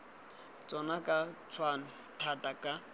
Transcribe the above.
tsona ka tshwanno thata ka